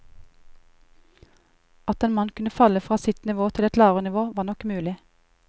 At en mann kunne falle fra sitt nivå til et lavere nivå var nok mulig.